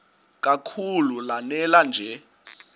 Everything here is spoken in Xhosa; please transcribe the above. kakhulu lanela nje